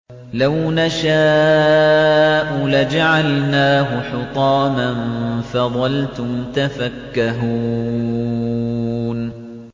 لَوْ نَشَاءُ لَجَعَلْنَاهُ حُطَامًا فَظَلْتُمْ تَفَكَّهُونَ